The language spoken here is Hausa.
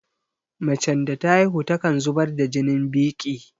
Macen da ta haihu takan zubar da jinin biƙi